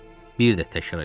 Bir də təkrar elədim.